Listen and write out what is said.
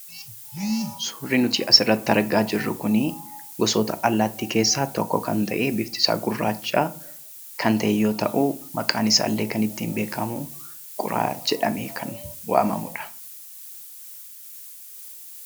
Suurri nuti asirratti argaa jirru kun gosoota allaattii keessaa tokko kan ta'e biftisaa gurraacha kan ta'e yoo ta'u, maqaan isaallee kan ittiin beekamu quraa jedhamee kan waamamudha.